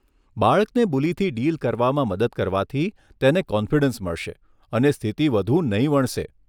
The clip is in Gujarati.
બાળકને બુલીથી ડીલ કરવામાં મદદ કરવાથી તેણે કોન્ફિડન્સ મળશે અને સ્થિતિ વધુ નહીં વણસે.